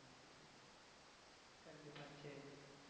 கண்டிப்பா சரி.